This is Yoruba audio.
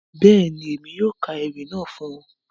Bẹ́ẹ̀ni, Emi yóò ka ewi naa fun ọ.